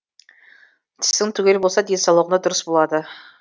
тісің түгел болса денсаулығың да дұрыс болады